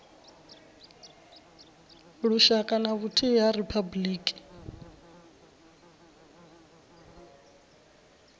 lushaka na vhuthihi ha riphabuliki